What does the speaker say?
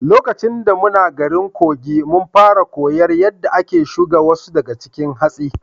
Lokaci da muna garin Kogi, mun fara koyar yadda ake shuga wasu daga cikin hatsi.